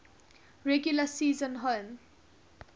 regular season home